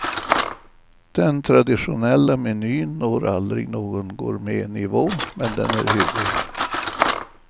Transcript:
Den traditionella menyn når aldrig någon gourmetnivå, men den är hygglig.